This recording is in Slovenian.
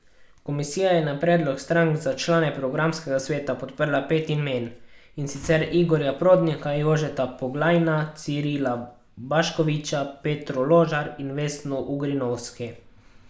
Komisija je na predlog strank za člane programskega sveta podprla pet imen, in sicer Igorja Prodnika, Jožeta Poglajna, Cirila Baškoviča, Petro Ložar in Vesno Ugrinovski.